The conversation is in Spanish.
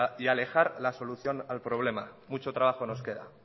y alejar la solución al problema mucho trabajo nos queda